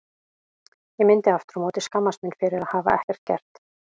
Ég myndi aftur á móti skammast mín fyrir að hafa ekkert gert.